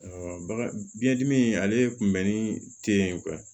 baga biyɛndimi ale kunbɛnni tɛ ye